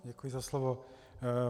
Děkuji za slovo.